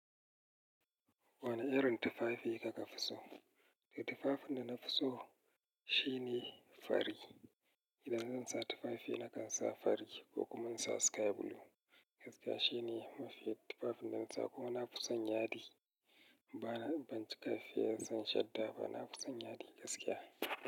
Wane irin tufafi kika fi so? To tufafin da na fi so shine fari. Idan zan sa tufafi nakan sa fari ko kuma in sa sky blue. Gaskiya shine mafi tufafin da na sa ko ma na fusan yadi bana, ban cika fiyar zan shadda ba. Na fusan yadi gaskiya.